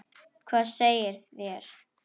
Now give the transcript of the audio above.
Hvað segið þér?